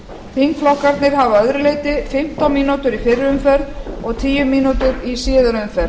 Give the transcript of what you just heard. þingflokkarnir hafa að öðru leyti fimmtán mínútur í fyrri umferð og tíu mínútur í síðari umferð